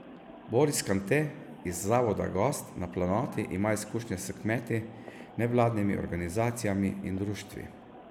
Boris Kante iz Zavoda Gost na Planoti ima izkušnje s kmeti, nevladnimi organizacijami in društvi.